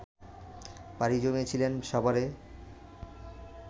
পাড়ি জামিয়েছিলেন সাভারে